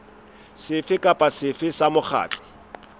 sefe kapa sefe sa mokgatlo